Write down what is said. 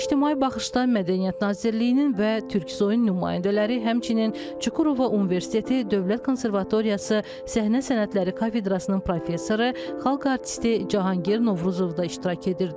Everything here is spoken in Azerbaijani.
İctimai Baxışda Mədəniyyət Nazirliyinin və Türksuyun nümayəndələri, həmçinin Çukurova Universiteti Dövlət Konservatoriyası səhnə sənətləri kafedrasının professoru, xalq artisti Cahangir Novruzov da iştirak edirdi.